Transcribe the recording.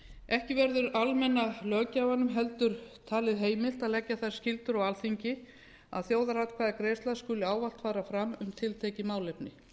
ekki verður almenna löggjafanum heldur talið heimilt að leggja þær skyldur á alþingi að þjóðaratkvæðagreiðsla skuli ávallt fara fram um tiltekið málefni